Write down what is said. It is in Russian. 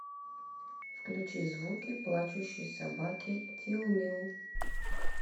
включи звуки плачущей собаки тилмил